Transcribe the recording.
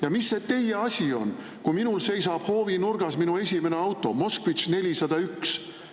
Ja mis see teie asi on, kui minul seisab hoovinurgas minu esimene auto Moskvitš 401?